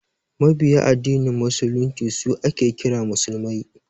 Mabiya addinin musulunci su ake kira musulmai